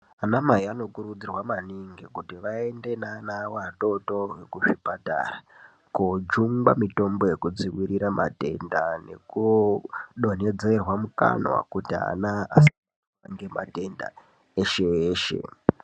Vanamai vanokurudzirwa manhingi kuti vaende nevana vadoredore kuzvipatara kundojungwa mitombo yokudzivirira matenda nokudonhedzerwa mukanwa kuti ana asaita matenda eshe eshe.